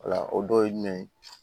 Wala o dɔ ye jumɛn ye